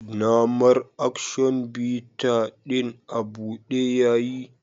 Na mar "Action bitters " din abude yiya.